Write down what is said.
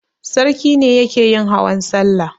Sarki ne yake yin hawan salla.